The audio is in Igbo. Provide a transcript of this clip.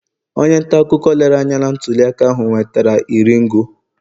onye ntaakụkọ lere anya na ntuliaka ahụ nwetara iri ngo